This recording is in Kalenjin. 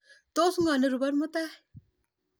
Tos ko ropon mutai